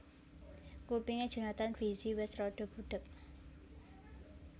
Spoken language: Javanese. Kupinge Jonathan Frizzy wes rada budheg